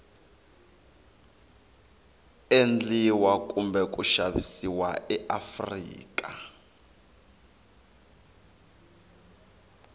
endliwa kumbe ku xavisiwa eafrika